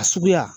A suguya